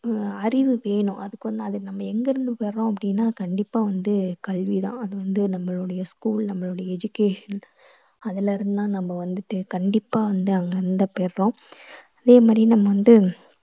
அறிவு வேணும் அதுக்கு வந்து அது நம்ம எங்கிருந்து பெறறோம் அப்படீன்னா கண்டிப்பா வந்து கல்விதான். அது வந்து நம்மளுடய school நம்மளுடய education அதுலேருந்து தான் நம்ம வந்துட்டு கண்டிப்பா வந்து அங்க இருந்து தான் பெறறோம் அதே மாதிரி நம்ம வந்து